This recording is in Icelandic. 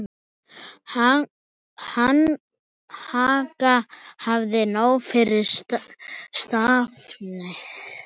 Inga hafði nóg fyrir stafni.